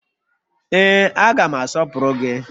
Ee, aga m asọpụrụ gị